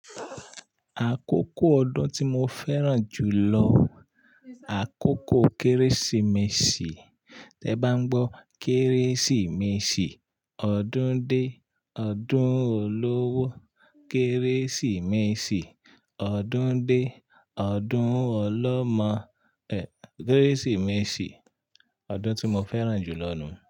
Àkókò ọdún tí mo fẹ́ràn jù lọ àkókò Kérésìmesì. Tẹ bá n gbọ́ Kérésìmesì, ọdún dé, ọdún olówó. Kérésìmesì, ọdún dé, ọdún ọlọ́mọ. Ehn, Kérésìmesì, ọdún tí mo fẹ́ràn jù lọ nù.